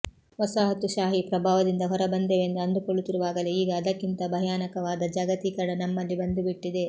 ವಸಾಹತುಶಾಹಿ ಪ್ರಭಾವದಿಂದ ಹೊರಬಂದೆವೆಂದು ಅಂದುಕೊಳ್ಳುತ್ತಿರುವಾಗಲೇ ಈಗ ಅದಕ್ಕಿಂತ ಭಯಾನಕವಾದ ಜಾಗತೀಕರಣ ನಮ್ಮಲ್ಲಿ ಬಂದು ಬಿಟ್ಟಿದೆ